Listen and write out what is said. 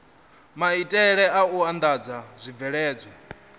maitele a u andadza zwibveledzwa